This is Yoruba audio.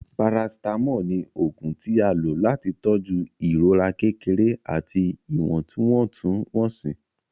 paracetamol ní oògùn tí a lò láti tọju ìrora kékeré àti iwọntwontun-wonsi.